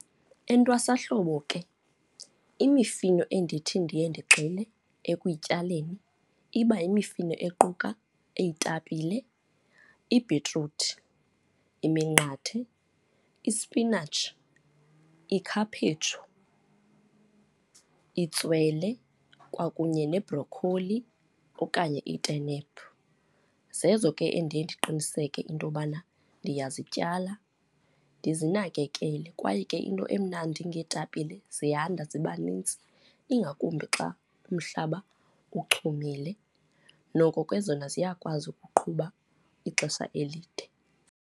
Entwasahlobo ke, imifino endithi ndiye ndigxile ekutyaleni iba yimifino equka eya iitapile, ibhitruthi, iminqathe, ispinatshi, ikhaphetshu, itswele kwakunye nebrokholi okanye itenephu. Zezo ke endiye ndiqiniseke into yokubana ndiyazityala ndizinakekele. Kwaye ke into emnandi ngeetapile ziyanda ziba nintsi, ingakumbi xa umhlaba uchumile, noko ke zona ziyakwazi ukuqhuba ixesha elide.